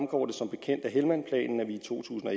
to tusind og